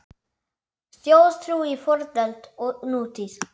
Þjóðtrú í fornöld og nútíð